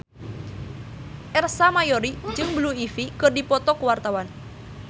Ersa Mayori jeung Blue Ivy keur dipoto ku wartawan